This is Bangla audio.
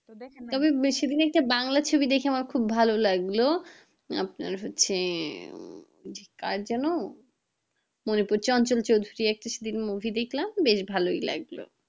তবে বেশিদিনে একটা বাংলা ছবি দেখে আমার ভালো লাগলো আপনার হচ্ছে আহ কার যেন? মনে পড়ছে চঞ্চল চৌধুরী একটা সেদিন movie দেখলাম ভালোই লাগলো